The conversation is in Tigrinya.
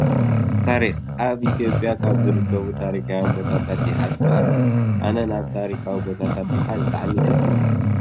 ታሪክን ፦ ኣብ ኢትዮጰያ ካብ ዝርከቡ ታሪካውያን ቦታታት ያሓ ዝበሃል እዩ። ኣነ ናብ ታሪካዊ ቦታታት ምካድ ብጣዕሚ እዩ ደስ ! ዝብለኒ።